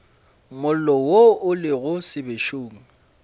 mollo wo o lego sebešong